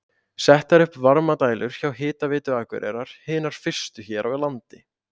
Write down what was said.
Settar upp varmadælur hjá Hitaveitu Akureyrar, hinar fyrstu hér á landi.